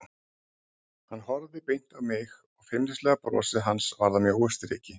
Hann horfði beint á mig og feimnislega brosið hans varð að mjóu striki.